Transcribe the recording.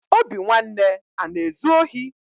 Obinwanne ana ezu ohi?